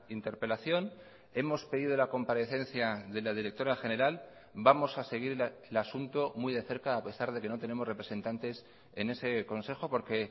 interpelación hemos pedido la comparecencia de la directora general vamos a seguir el asunto muy de cerca a pesar de que no tenemos representantes en ese consejo porque